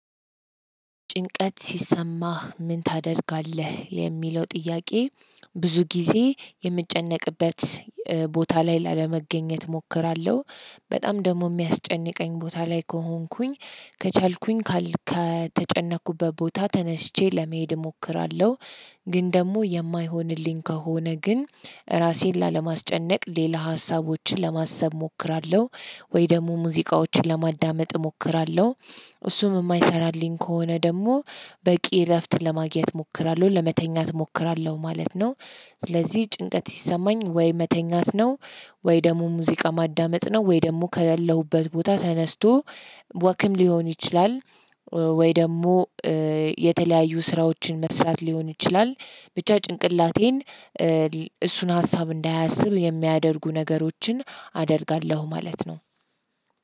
ጭንቀት ሲሰማህ ምን ታደርጋለህ የሚለው ጥያቄ? ብዙ ጊዜ የምጨነቅበት ቦታ ላይ ላለመገኘት እሞክራለሁ በጣም ደግሞ የሚያስጨንቀኝ ቦታ ላይ ከሆንኩኝ ከቻልኩኝ ከተጨነቅኩበት ቦታ ተነስቼ ለመሄድ እሞክራለሁ። ግን ደግሞ የማይሆንልኝ ከሆነ ግን እራሴን ላለማስጨነቅ ሌላ ሀሳቦችን ለማሰብ እሞክራለሁ ወይ ደግሞ ሙዚቃዎችን ለማዳመጥ እሞክራለሁ። እሱም እማይሰራልኝ ከሆነ ደግሞ በቂ እረፍት ለማግኘት እሞክራለሁ ለመተኛት እሞክራለሁ ማለት ነው። ስለዚህ ጭንቀት ሲሰማኝ ወይ መተኛት ነው። ወይ ደግሞ ሙዚቃ ማዳመጥ ነው ወይ ደግሞ ከሌለሁበት ቦታ ተነስቶ ወክም ሊሆን ይችላል። ወይ ደግሞ የተለያዩ ስራዎችን መስራት ሊሆን ይችላል። ብቻ ጭንቅላቴን እሱን ሀሳብ እንዳያስብ የሚያደርጉ ነገሮችን አደርጋለሁ ማለት ነው።